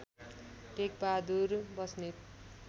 Tekbahadur Basnet